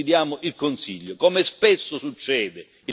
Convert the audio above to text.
Su questi impegni noi sfidiamo il Consiglio.